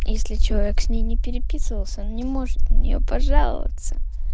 если человек с ней не переписывался он не может на нее пожаловаться